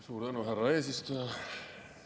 Suur tänu, härra eesistuja!